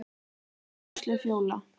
Þín Áslaug Fjóla.